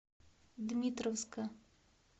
дмитровска